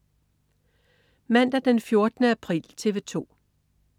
Mandag den 14. april - TV 2: